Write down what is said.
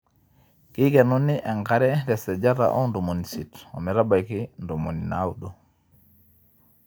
keikenuni enkare tesajata oo ntomoni isiet ometbaiki ntomoni naaudo